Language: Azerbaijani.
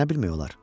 Nə bilmək olar?